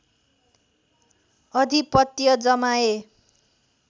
अधिपत्य जमाए